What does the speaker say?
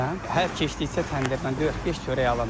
Hər keçdikcə təndirdən dörd-beş çörək alıram.